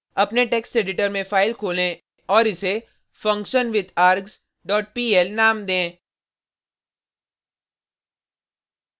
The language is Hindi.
अपने टेक्स्ट एडिटर में फाइल खोलें और इसे functionwithargs dot pl नाम दें